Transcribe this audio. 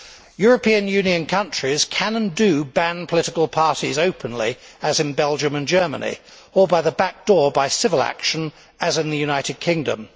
European Union countries can, and do, ban political parties openly, as in Belgium and Germany, or by the back door by civil action, as in the United Kingdom.